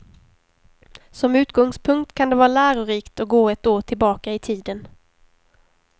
Som utgångspunkt kan det vara lärorikt att gå ett år tillbaka i tiden.